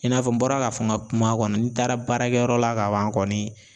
E n'a fɔ n bɔra k'a fɔ n ka kuma kɔnɔ n taara baarakɛyɔrɔ la ka ban kɔni